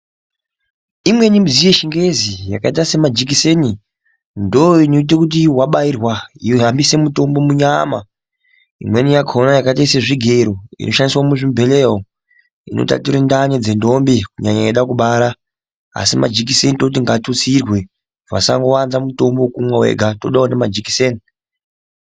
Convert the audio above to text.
Imweni midziyo yechingezi yakaita semajikiseni ndooinoite kuti wabairwa yohambise mutombo munyama. Imweni yakona yakaite sezvigero inoshandiswe muzvibhehleya umwu, inotature ndani dzendombi kunyanya eide kubara. Asi majiseni toti ngaatutsirwe, vasawanza mutombo wokumwa wega, todawo ngemajikiseni.